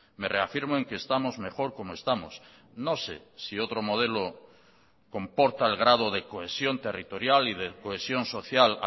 me reafirmo en que estamos mejor como estamos no sé si otro modelo comporta el grado de cohesión territorial y de cohesión social